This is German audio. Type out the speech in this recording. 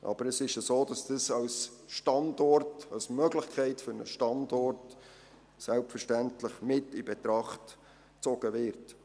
Aber es ist so, dass dies als Möglichkeit für einen Standort selbstverständlich mit in Betracht gezogen wird.